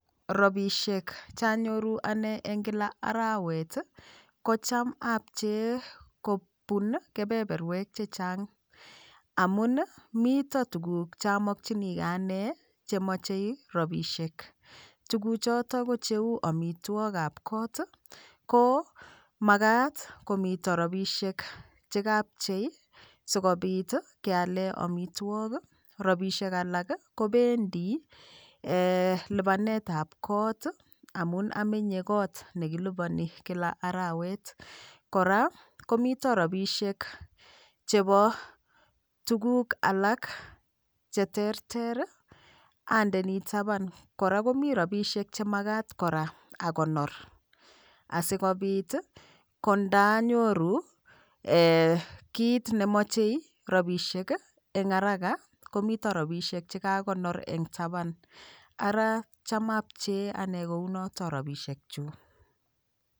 Ropishek chanyoru ane eng' kila arawet kocham apchee kobun kepeperwek chechang' amun mito tukuk chamokchinigei ane chemochei rapishek tukuchoto kocheu omitwokab koot komakat komito rapishek chekapchei sikobit keale omitwok rapishek alak kobendi lipanetab kot amun amenye kot nekilipani Kila arawet kora komito ropishek chebo tukuk alak cheterter andeni taban kora komi rapishek chemakat kora akonor asikobit kondanyoru kiit nemochei rapishek eng' haraka komito ropishek chekakonor eng'taban ara cham abchee ane kounoto ropishekchu.